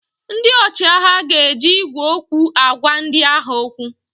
Ndị ọchịagha ga-eji igwe okwu agwa ndị agha okwu